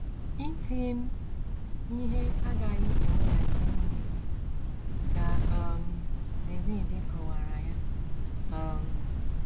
“ Iti m ihe agaghị eweghachi nri gị, ” ka um David kọwaara ya. um